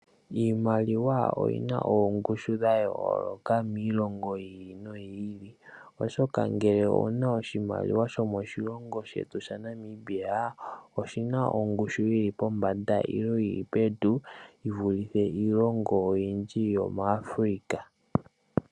Iimaliwa oyina ongushu yayoloka miilongo yiili no yiili, oshoka ngele wuna oshimaliwa shomoshilongo shetu Namibia oshina ongushu yili pombanda nenge yili pevi yivulithe iilongo oyindji yomu Africa.